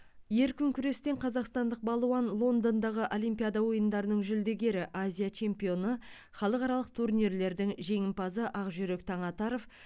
еркін күрестен қазақстандық балуан лондондағы олимпиада ойындарының жүлдегері азия чемпионы халықаралық турнирлердің жеңімпазы ақжүрек таңатаров